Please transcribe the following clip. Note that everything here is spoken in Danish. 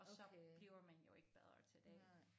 Okay nej